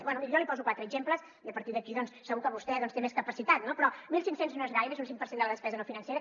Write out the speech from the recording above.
bé miri jo n’hi poso quatre exemples i a partir d’aquí segur que vostè té més capacitat no mil cinc cents no és gaire és un cinc per cent de la despesa no financera